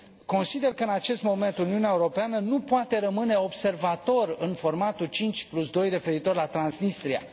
Consider că, în acest moment, Uniunea Europeană nu poate rămâne observator în formatul 52 referitor la Transnistria.